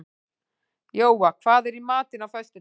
Jóa, hvað er í matinn á föstudaginn?